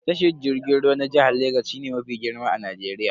Tashar jirgin ruwa na jihar Legas shine mafi girma a Najeriya.